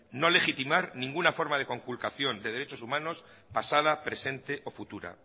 no legitimar ninguna forma de conculcación de derechos humanos pasada presente o futura